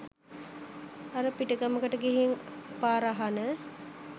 අර පිටගමකට ගිහින් පාර අහන